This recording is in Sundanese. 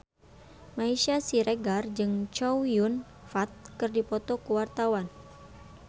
Meisya Siregar jeung Chow Yun Fat keur dipoto ku wartawan